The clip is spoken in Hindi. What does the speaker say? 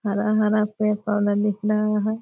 हरा-हरा पेड़-पौधा दिख रहा है ।